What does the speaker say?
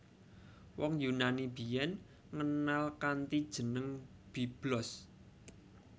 Wong Yunani biyen ngenal kanthi jeneng Byblos